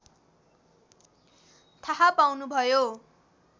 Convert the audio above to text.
थाहा पाउनुभयो